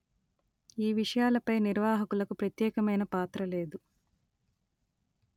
ఈ విషయాలపై నిర్వాహకులకు ప్రత్యేకమైన పాత్ర లేదు